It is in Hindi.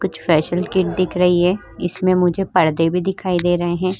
कुछ फेसिअल किट दिख रही है इसमें मुझे परदे भी दिखाई दे रहे हैं।